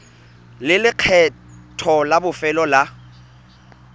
le lekgetho la bofelo la